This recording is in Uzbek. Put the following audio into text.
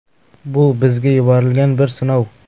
Bu bizga yuborilgan bir sinov.